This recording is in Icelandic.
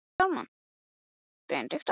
Við hituðum naglann og áttum súpuna